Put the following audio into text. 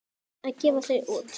Að gefa þau út!